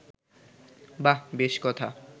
বাঃ বেশ কথা